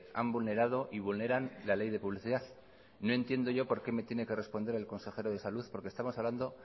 han vulnerado y vulneran la ley de publicidad no entiendo yo por qué me tiene que responder el consejero de salud porque estamos hablando